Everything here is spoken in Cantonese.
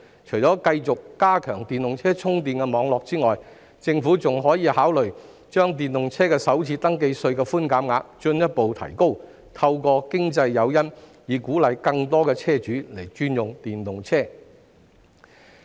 除了繼續加強電動車充電網絡外，政府亦可考慮進一步提高電動車的首次登記稅寬免額，透過經濟誘因鼓勵更多車主轉用電動車。